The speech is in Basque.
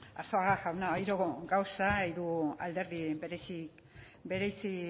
arzuaga jauna hiru gauza hiru alderdi bereizi